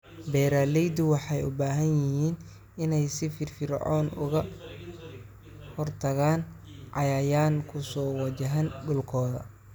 Beeraleydu waxay u baahan yihiin inay si firfircoon uga hortagaan cayayaan ku soo wajahan dhulkooda.